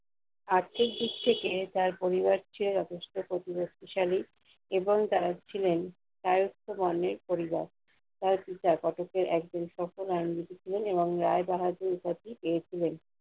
আর্থিক দিক থেকে তার পরিবার ছিল যথেষ্ট প্রতিপত্তিশালী এবং তারা ছিলেন শায়স্ত বর্ণের পরিবার। তার পিতা কটকের একজন সফল আইনজীবি ছিলেন এবং রায়বাহাদুর উপাধি পেয়েছিলেন।